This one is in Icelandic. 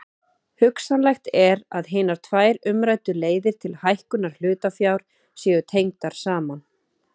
Hugsanlegt er að hinar tvær umræddu leiðir til hækkunar hlutafjár séu tengdar saman.